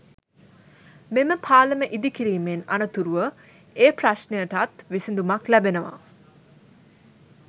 මෙම පාලම ඉදිකිරීමෙන් අනතුරුව ඒ ප්‍රශ්නයටත් විසඳුමක් ලැබෙනවා.